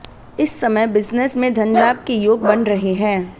इस समय बिजनेस में धन लाभ के योग बन रहे हैं